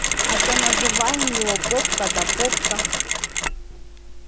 а то называем его попка да попка